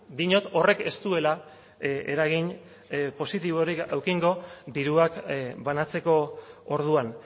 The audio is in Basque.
diot horrek ez duela eragin positiborik edukiko diruak banatzeko orduan